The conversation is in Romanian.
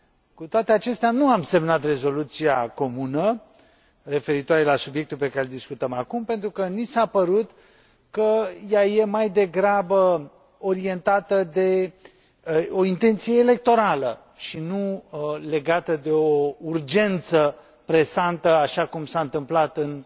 Cu toate acestea, nu am semnat rezoluția comună referitoare la subiectul pe care îl discutăm acum, pentru că ni s a părut că ea e mai degrabă orientată de o intenție electorală, și nu legată de o urgență presantă, așa cum s a întâmplat în